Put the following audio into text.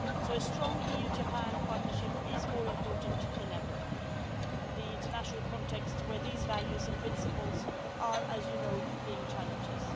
A strong EU Japan partnership is more important than ever in an international context in which these values and principles are, as you know, being challenged.